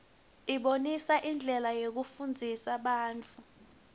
ibonisa indlela yekufundzisa bantfwana